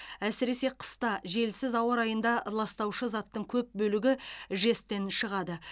әсіресе қыста желсіз ауа райында ластаушы заттың көп бөлігі жэс тен шығады